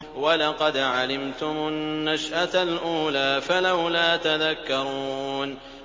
وَلَقَدْ عَلِمْتُمُ النَّشْأَةَ الْأُولَىٰ فَلَوْلَا تَذَكَّرُونَ